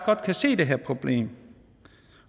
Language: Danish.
godt kan se det her problem